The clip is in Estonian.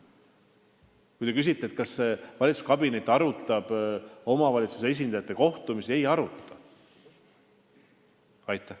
Kui te küsite, kas see valitsuskabinet arutab omavalitsuse esindajate kohtumisi, siis ma vastan, et ei aruta.